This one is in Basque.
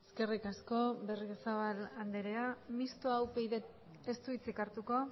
eskerrik asko berriozabal andrea mistoa upydk ez du hitzik hartuko